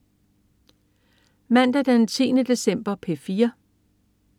Mandag den 10. december - P4: